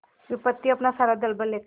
विपत्ति अपना सारा दलबल लेकर आए